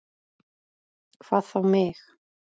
Hvað þá mig.